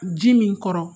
Ji min kɔrɔ